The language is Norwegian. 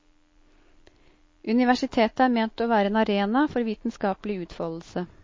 Universitetet er ment å være en arena for vitenskapelig utfoldelse.